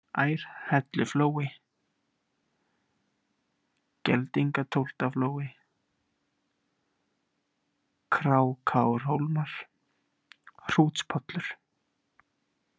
Ærhelluflói, Geldingatóftaflói, Krákárhólmar, Hrútspollur